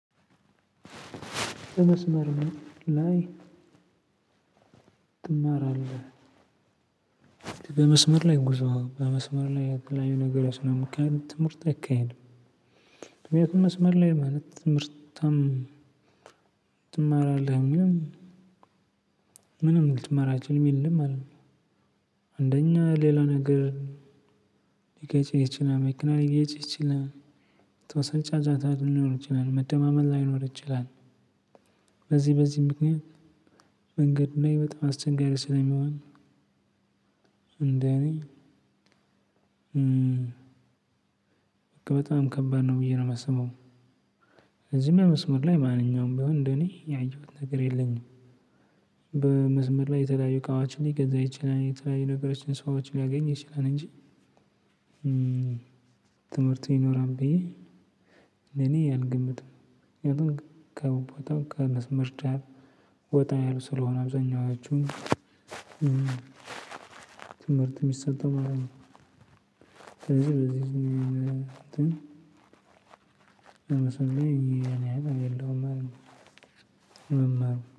"በመስመር ላይ ትማራለህ?" በመስመር ላይ ጉዞ፣ በመስመር ላይ የተለያዩ ነገሮች ስለሚካሄዱ ትምህርት አይካሄድም። ምክንያቱም መስመር ላይ ማለት ትምህርትም ትመራለህ ምንም ልትማር አትችልም አይደለም አንደኛ ሌላ ነገር ሊገጭህ ይችላል መኪና ሊገጭህ ይችላል የተወሰነ ጫጫታ ሊኖር ይችላል መደማመጥ ላይኖር ይችላል። በዚህ በዚህ ምክንያት መንገድ ላይ በጣም አስቸጋሪ ስለሚሆን እንደእኔ በጣም ከባድ ነው ብዬ ነው የማስበው። ስለዚህ እኔ መስመር ላይ ማንኛውም ቢሆን እንደኔ ያየሁት ነገር የለኝም። በመስመር ላይ የተለያዩ እቃዎችን ሊገዛ ይችላል፣ የተለያዩ ነገሮችን ሰዎችን ሊያገኝ ይችላል እንጂ ትምህርት ይኖራል ብዬ እንደኔ አልገምትም ከቦታው ከመስመር ጫፍ ወጣ ያሉ ስለሆነ አብዛኛዎቹ የሚሰጠው ማለት ነው ስለዚህ በዚህ እኔ እኔ የለሁም መማር